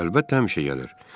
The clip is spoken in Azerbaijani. Əlbəttə həmişə gəlir.